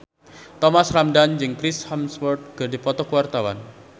Thomas Ramdhan jeung Chris Hemsworth keur dipoto ku wartawan